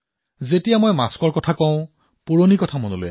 মাস্কৰ কথা কওতে মোৰ পুৰণি কথা এটা মনত পৰিছে